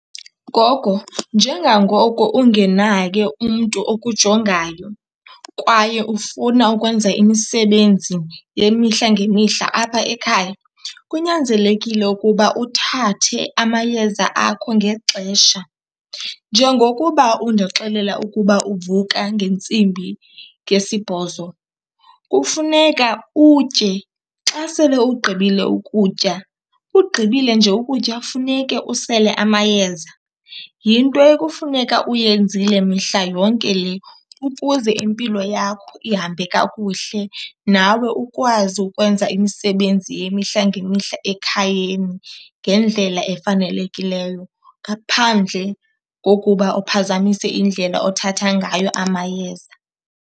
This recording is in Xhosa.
Gogo, njengangoko ungenaye umntu okujongayo kwaye ufuna ukwenza imisebenzi yemihla ngemihla apha ekhaya, kunyanzelekile ukuba uthathe amayeza akho ngexesha. Njengokuba undixelela ukuba uvuka ngentsimbi ngesibhozo kufuneka utye. Xa sele ugqibile ukutya, ugqibile nje ukutya funeke usele amayeza. Yinto ekufuneka uyenzile mihla yonke le ukuze impilo yakho ihambe kakuhle, nawe ukwazi ukwenza imisebenzi yemihla ngemihla ekhayeni ngendlela efanelekileyo ngaphandle kokuba uphazamise indlela othatha ngayo amayeza.